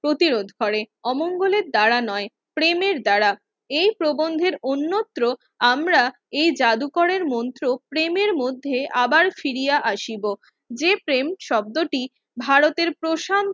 প্রতিরোধ করে অমঙ্গলে তারা নাই প্রেমের দ্বারা এই প্রেমের অন্যত্র আমরা এই জাদুকরের মন্ত্র প্রেমের মধ্য আবার ফিরিয়া আসিবো যে প্রেম শব্দটি ভারতের প্রশান